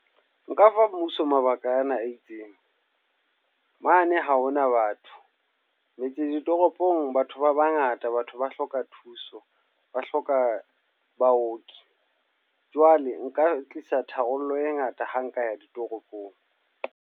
Nka fa mmuso mabaka ana a itseng. Mane ha hona batho. Metse ditoropong batho ba bangata batho ba hloka thuso, ba hloka baoki. Jwale nka tlisa tharollo e ngata ha nka ya ditoropong.